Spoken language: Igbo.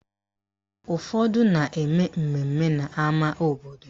Ụfọdụ na-eme mmemme n'ama obodo